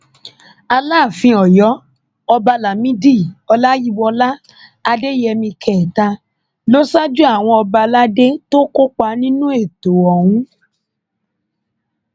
alaàfin ọyọ ọba lámìdí ọláyíwọlá adéyẹmí kẹta ló ṣáájú àwọn ọba aládé tó kópa nínú ètò ọhún